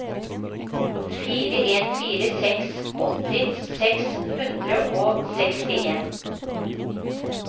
fire en fire seks åtti seks hundre og sekstien